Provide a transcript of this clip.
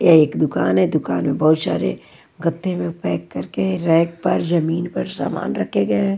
ये एक दुकान है दुकान में बहुत सारे गत्थे में पैक करके रैक पर जमीन पर सामान रखे गए हैं।